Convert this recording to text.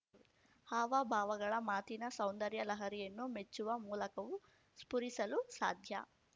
ಹಾವಭಾವಗಳ ಮಾತಿನ ಸೌಂದರ್ಯ ಲಹರಿಯನ್ನು ಮೆಚ್ಚುವ ಮೂಲಕವೂ ಸ್ಪುರಿಸಲು ಸಾಧ್ಯ